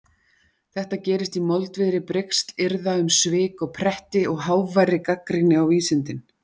Þetta gerist í moldviðri brigslyrða um svik og pretti og háværri gagnrýni á vísindin.